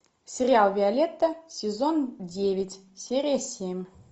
сериал виолетта сезон девять серия семь